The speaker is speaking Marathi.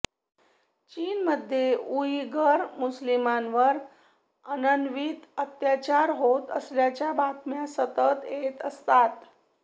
चीनमध्ये उइगर मुस्लिमांवर अनन्वित अत्याचार होत असल्याच्या बातम्या सतत येत असतात